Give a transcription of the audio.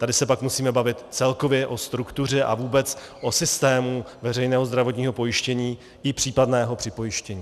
Tady se pak musíme bavit celkově o struktuře a vůbec o systému veřejného zdravotního pojištění i případného připojištění.